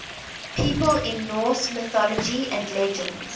people in norse mythology and legends